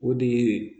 O de ye